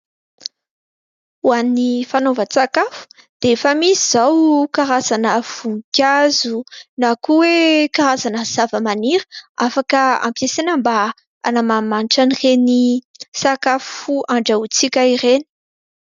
Ho an' ny fanaovan-tsakafo dia efa misy izao karazana voninkazo na koa hoe karazana zava-maniry afaka ampiasaina mba hanamanimanitra an' ireny sakafo andrahontsika ireny.